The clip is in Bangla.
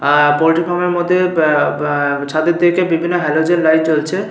আহ পোল্ট্রি ফার্ম -এর মধ্যে বা বা ছাদের দিকে বিভিন্ন হ্যালোজেন লাইট জ্বলছে ।